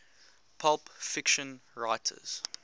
pulp fiction writers